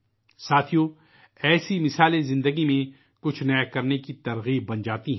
دوستو، اس طرح کی مثالیں زندگی میں کچھ نیا کرنے کے لئے ترغیب فراہم کرتی ہیں